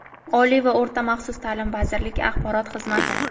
Oliy va o‘rta maxsus taʼlim vazirligi axborot xizmati.